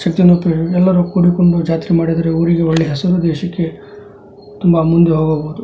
ಚಿತ್ರ ನೋಡುತ್ತಿದೆ ಎಲ್ಲರೂ ಕೂಡಿಕೊಂಡು ಜಾತ್ರೆ ಮಾಡಿದರೆ ಊರಿಗೆ ಒಳ್ಳೆ ಹೆಸರು ದೇಶಕ್ಕೆ ತುಂಬಾ ಮುಂದೆ ಹೋಗಬಹುದು.